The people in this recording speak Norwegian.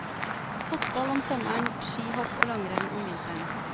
Fotball om sommeren, skihopp og langrenn om vinteren.